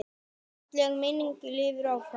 Falleg minning lifir áfram.